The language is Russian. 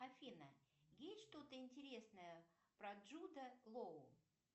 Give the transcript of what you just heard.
афина есть что то интересное про джуда лоу